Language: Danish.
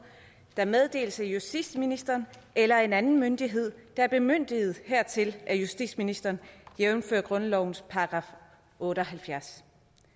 der meddeles af justitsministeren eller en anden myndighed der er bemyndiget hertil af justitsministeren jævnfør grundlovens § otte og halvfjerds